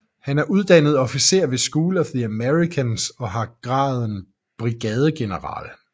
Han er uddannet officer ved School of the Americas og har graden brigadegeneral